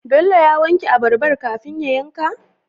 Bello ya wanke abarbar kafin ya yanka?